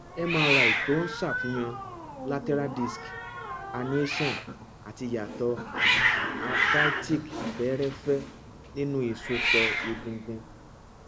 mri tó ń ṣàfihàn lateral disc herniation àti ìyàtọ arthritic fẹẹrẹfẹ nínú ìsòpọ egungun